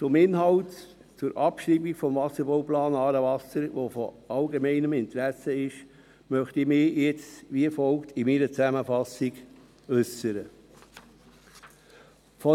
Zum Inhalt zur Abschreibung des Wasserbauplans «Aarewasser», der von allgemeinem Interesse ist, möchte ich mich jetzt in meiner Zusammenfassung wie folgt äussern.